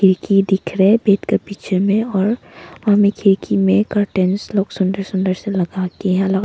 खिड़की दिख रहे हैं बेड के पीछे में और हमें खिड़की में कर्टन लोग सुंदर सुंदर से लगाति हे लो --